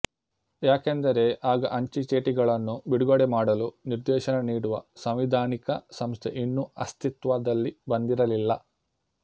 ಯಾಕೆಂದರೆ ಆಗ ಅಂಚೆಚೀಟಿಗಳನ್ನು ಬಿಡುಗಡೆ ಮಾಡಲು ನಿರ್ದೇಶನ ನೀಡುವ ಸಂವಿಧಾನಿಕ ಸಂಸ್ಥೆ ಇನ್ನೂ ಅಸ್ತಿತ್ವದಲ್ಲಿ ಬಂದಿರಲಿಲ್ಲ